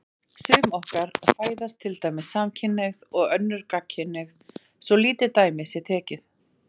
Sum okkar fæðast til dæmis samkynhneigð og önnur gagnkynhneigð, svo lítið dæmi sé tekið.